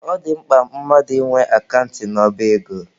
Ọ dị mkpa mmadụ ị nwe akant n'ọba ego.